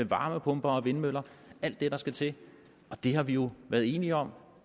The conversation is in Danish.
varmepumper og vindmøller alt det der skal til det har vi jo været enige om